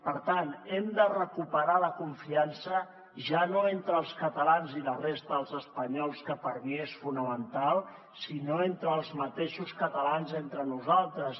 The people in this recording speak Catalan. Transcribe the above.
per tant hem de recuperar la confiança ja no entre els catalans i la resta dels espanyols que per mi és fonamental sinó entre els mateixos catalans entre nosaltres